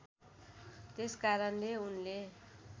त्यसकारणले उनले